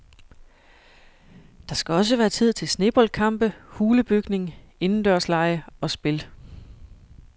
Der skal også være tid til sneboldkampe, hulebygning, indendørslege og spil.